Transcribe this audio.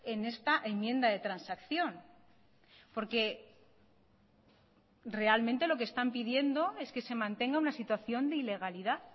en esta enmienda de transacción porque realmente lo que están pidiendo es que se mantenga una situación de ilegalidad